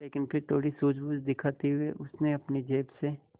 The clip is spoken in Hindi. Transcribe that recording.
लेकिन फिर थोड़ी सूझबूझ दिखाते हुए उसने अपनी जेब से